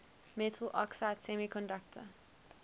metal oxide semiconductor